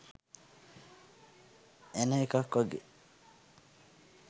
එන එකක් වගේ.